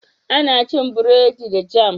Ana cin bredi da "jam"